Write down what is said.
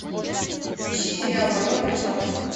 ищи сериал потомки солнца